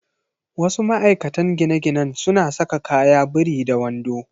Wasu ma'aikatan gine-ginen suna saka kaya biri da wando.